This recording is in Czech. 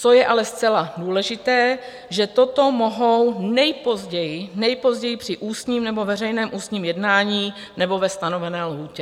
Co je ale zcela důležité, že toto mohou nejpozději, nejpozději, při ústním nebo veřejném ústním jednání nebo ve stanovené lhůtě.